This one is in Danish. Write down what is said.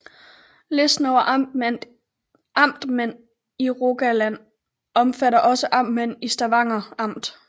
Listen over amtmænd i Rogaland omfatter også amtmænd i Stavanger Amt